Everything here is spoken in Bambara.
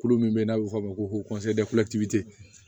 Kulu min bɛ yen n'a bɛ fɔ o ma ko